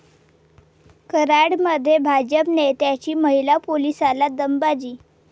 कराडमध्ये भाजप नेत्याची महिला पोलिसाला दमबाजी